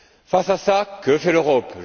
Face à cela, que fait l'Europe?